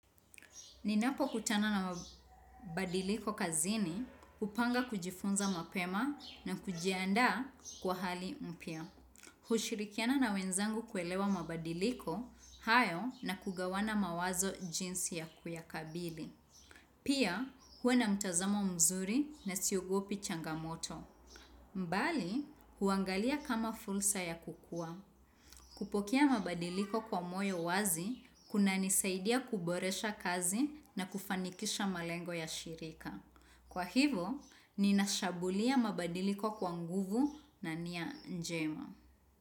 Ninapokutana na mabadiliko kazini, hupanga kujifunza mapema na kujiandaa kwa hali mpya. Hushirikiana na wenzangu kuelewa mabadiliko, hayo na kugawana mawazo jinsi ya kuyakabili. Pia, uwe na mtazamo mzuri na siogopi changamoto. Mbali, huangalia kama fursa ya kukua. Kupokea mabadiliko kwa moyo wazi, kunanisaidia kuboresha kazi na kufanikisha malengo ya shirika. Kwa hivyo, ninashambulia mabadiliko kwa nguvu na nia njema.